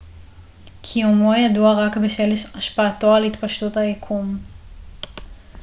קיומו ידוע רק בשל השפעתו על התפשטות היקום